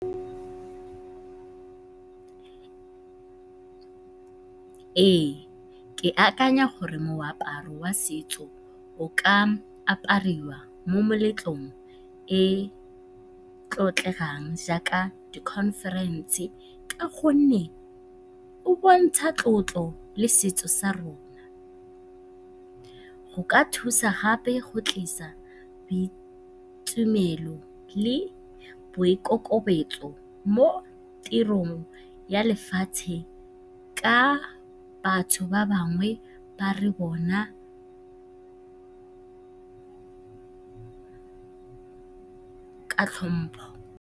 Ee, ke akanya gore moaparo wa setso o ka apariwa mo meletlong e e tlotlegang jaaka di-conference ka gonne o bontsha tlotlo le setso sa rona. Go ka thusa gape go tlisa tumelo le boikokobetso mo tirong ya lefatshe ka batho ba bangwe ba re bona ka tlhompho.